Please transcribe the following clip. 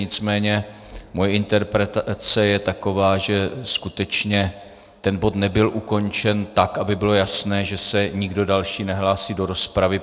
Nicméně moje interpretace je taková, že skutečně ten bod nebyl ukončen tak, aby bylo jasné, že se nikdo další nehlásí do rozpravy.